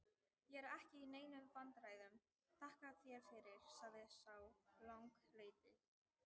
Ég er ekki í neinum vandræðum, þakka þér fyrir, sagði sá langleiti.